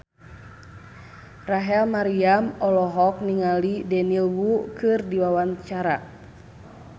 Rachel Maryam olohok ningali Daniel Wu keur diwawancara